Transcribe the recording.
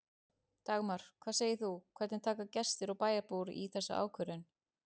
Dagmar, hvað segir þú, hvernig taka gestir og bæjarbúar í þessa ákvörðun?